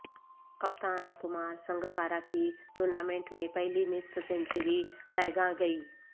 کپتان کمار سنگاکارا کی ٹورنامنٹ میں پہلی نصف سنچری رائیگاں گئی